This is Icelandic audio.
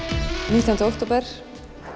nítjánda október